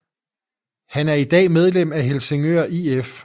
Han er i dag medlem af Helsingør IF